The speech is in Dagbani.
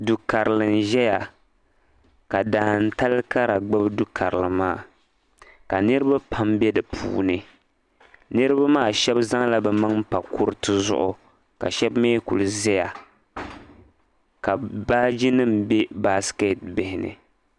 Du karili n ʒɛya ka daantali Kara gbubi du karili maa ka niriba pam be di puuni niriba maa shɛb zaŋla bɛ maŋa pa kuriti zuɣu ka shɛb mi kuli ʒɛya ka baajinima be basketi bihi ni